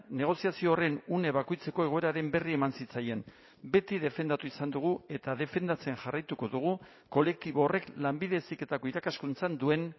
negoziazio horren une bakoitzeko egoeraren berri eman zitzaien beti defendatu izan dugu eta defendatzen jarraituko dugu kolektibo horrek lanbide heziketako irakaskuntzan duen